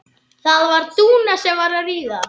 Börnin slá jafnvel saman.